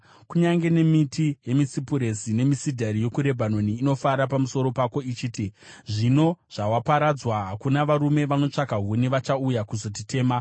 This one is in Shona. Kunyange nemiti yemisipuresi nemisidhari yokuRebhanoni inofara pamusoro pako ichiti, “Zvino zvawaparadzwa, hakuna varume vanotsvaka huni vachauya kuzotitema.”